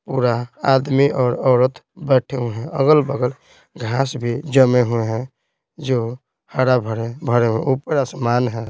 पूरा आदमी और औरत बैठे हुए हैं अगल-बगल घास भी जमे हुए हैं जो हरा भरे भरे ऊपर आसमान है।